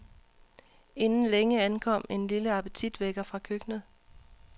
Inden længe ankom en lille appetitvækker fra køkkenet.